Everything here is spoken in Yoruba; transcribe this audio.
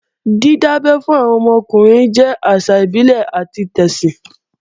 Dídábẹ́ fún ọmọ ọkùnrin jẹ́ àṣà ìbílẹ̀ àti tẹ̀sìn